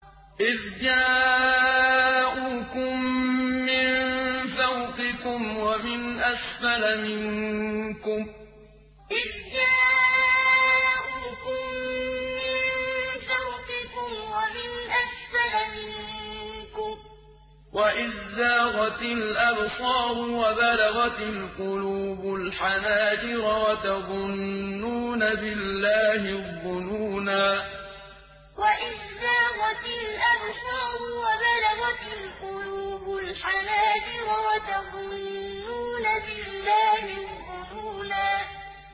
إِذْ جَاءُوكُم مِّن فَوْقِكُمْ وَمِنْ أَسْفَلَ مِنكُمْ وَإِذْ زَاغَتِ الْأَبْصَارُ وَبَلَغَتِ الْقُلُوبُ الْحَنَاجِرَ وَتَظُنُّونَ بِاللَّهِ الظُّنُونَا إِذْ جَاءُوكُم مِّن فَوْقِكُمْ وَمِنْ أَسْفَلَ مِنكُمْ وَإِذْ زَاغَتِ الْأَبْصَارُ وَبَلَغَتِ الْقُلُوبُ الْحَنَاجِرَ وَتَظُنُّونَ بِاللَّهِ الظُّنُونَا